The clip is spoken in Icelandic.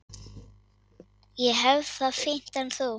Ég hef það fínt en þú?